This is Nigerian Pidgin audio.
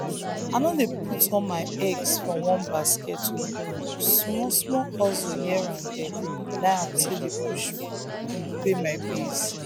i no dey put all my eggs for one basket small-small hustle here and there na im dey pay bills.